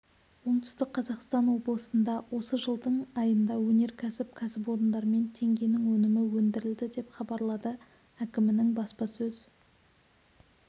оңтүстік қазақстан облысында осы жылдың айында өнеркәсіп кәсіпорындарымен теңгенің өнімі өндірілді деп хабарлады әкімінің баспасөз